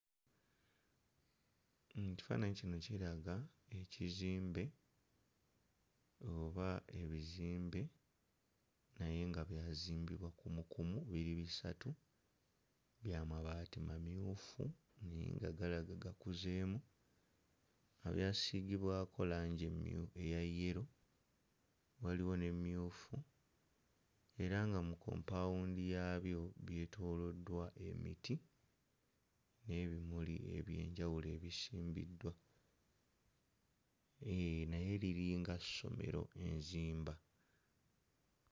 Ekifaananyi kino kiraga ekizimbe oba ebizimbe naye nga byazimbibwa kumukumu biri bisatu bya mabaati mamyufu naye nga galaga gakuzeemu nga byasiigibwako langi emmyu ya yellow; waliwo n'emmyufu era nga mu kkompaawundi yaabyo byetooloddwa emiti n'ebimuli eby'enjawulo ebisimbiddwa; eeh naye liri nga ssomero enzimba.